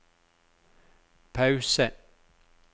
pause